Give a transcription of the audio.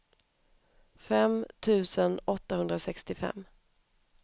fem tusen åttahundrasextiofem